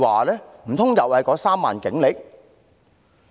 難道又是那3萬警力？